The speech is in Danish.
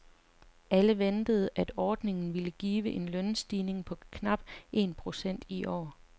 Alle ventede, at ordningen ville give en lønstigning på knap en procent i år.